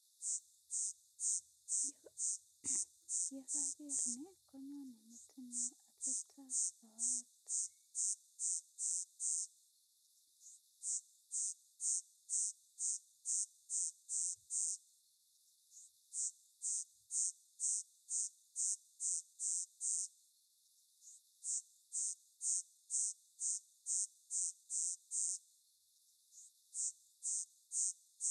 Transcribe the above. Ye kaker nj konyone metinyu atepta ap soet.